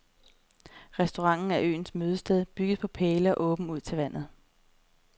Restauranten er øens mødested, bygget på pæle og åben ud til vandet.